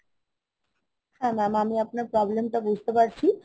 Madam, আমি আপনার problem তা বুজতে পারছি।